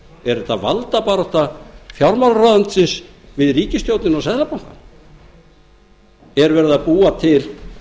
er þetta valdabarátta fjármálaráðuneytisins við ríkisstjórnina og seðlabankann er verið að búa til